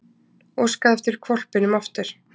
Óskaði eftir hvolpinum aftur